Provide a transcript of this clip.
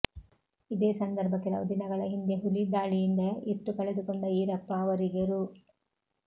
ಇದೇ ಸಂದರ್ಭ ಕೆಲವು ದಿನಗಳ ಹಿಂದೆ ಹುಲಿ ದಾಳಿಯಿಂದ ಎತ್ತು ಕಳೆದುಕೊಂಡ ಈರಪ್ಪ ಅವರಿಗೆ ರೂ